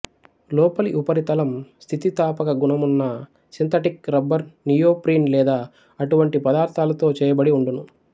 లోపలి ఉపరితలం స్థితిస్థాపక గుణమున్న సింథటిక్ రబ్బరు నియో ప్రీన్ లేదా అటువంటి పదార్థాలతో చేయ బడి వుండును